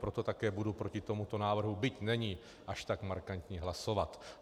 Proto také budu proti tomuto návrhu, byť není až tak markantní, hlasovat.